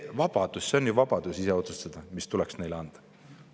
Aga see on ju vabadus ise otsustada, mis tuleks neile anda.